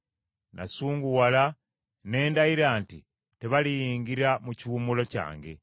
Kyennava ndayira nga nsunguwadde nti, ‘Tebaliyingira mu kiwummulo kyange.’ ”